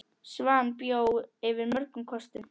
Svan bjó yfir mörgum kostum.